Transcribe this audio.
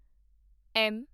M